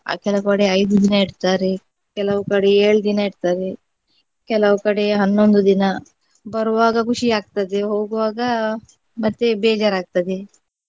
ಕೆಲವು ಕಡೆ ಐದು ದಿನ ಇಡ್ತಾರೆ, ಕೆಲವು ಕಡೆ ಏಳು ದಿನ ಇಡ್ತಾರೆ, ಕೆಲವು ಕಡೆ ಹನ್ನೊಂದು ದಿನ ಬರುವಾಗ ಖುಷಿ ಆಗ್ತದೆ ಹೋಗುವಾಗ ಮತ್ತೆ ಬೇಜಾರ್ ಆಗ್ತದೆ.